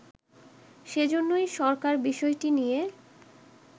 সেজন্যই সরকার বিষয়টি নিয়ে